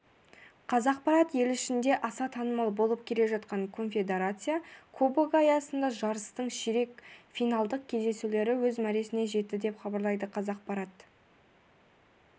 қазақпарат ел ішінде аса танымал болып келе жатқан конфедерация кубогы аясындағы жарыстың ширек финалдық кездесулері өз мәресіне жетті деп хабарлайды қазақпарат